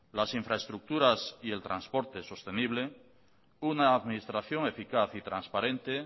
las infraestructuras y el transporte sostenible una administración eficaz y transparente